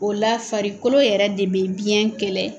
O la farikolo yɛrɛ de bɛ biɲɛ kɛlɛ.